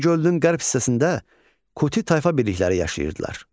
Urmiya gölünün qərb hissəsində Kuti tayfa birlikləri yaşayırdılar.